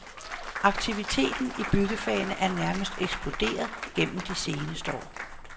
Aktiviteten i byggefagene er nærmest eksploderet gennem det seneste år.